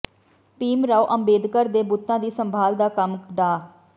ਭੀਮ ਰਾਓ ਅੰਬੇਦਕਰ ਦੇ ਬੁੱਤਾਂ ਦੀ ਸੰਭਾਲ ਦਾ ਕੰਮ ਡਾ